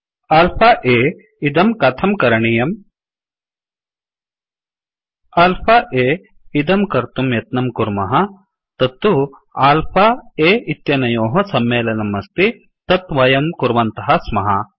alpha अ इदं कथं करणीयम्160 alpha अ इदं कर्तुं यत्नं कुर्मः तत्तु अल्फ a इत्यनयोः सम्मेलनं अस्ति तत् वयं कुर्वन्तः स्मः